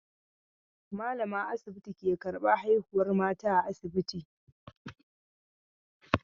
Malamar asibiti ke karban haihuwar mata a asibiti.